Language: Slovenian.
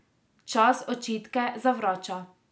Čas očitke zavrača.